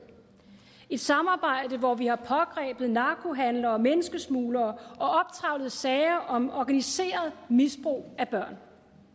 et samarbejde hvor vi har pågrebet narkohandlere og menneskesmuglere og optrevlet sager om organiseret misbrug af børn